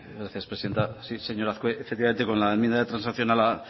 gracias presidenta sí señor azkue efectivamente con la enmienda de transacción